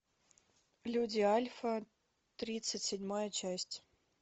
люди альфа тридцать седьмая часть